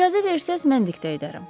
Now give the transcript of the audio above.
İcazə versəz mən diktə edərəm.